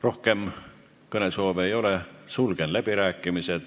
Rohkem kõnesoove ei ole, sulgen läbirääkimised.